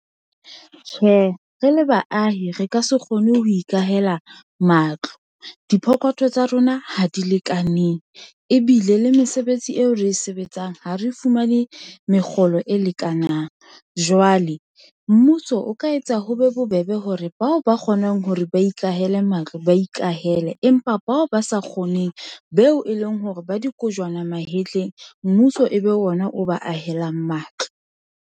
Tjhe, re le baahi re ka se kgone ho ikahela matlo, diphokothong tsa rona ha di lekaneng ebile le mesebetsi eo re e sebetsang ha re fumane mekgolo e lekanang. Jwale mmuso o ka etsa ho be bobebe hore bao ba kgonang hore ba ikahele matlo, ba ikahele empa bao ba sa kgoneng beo e leng hore ba dikojwana mahetleng mmuso ebe ona o ba ahelang matlo